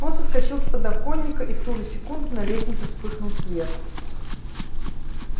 он соскочил с подоконника и в ту же секунду на лестнице вспыхнул свет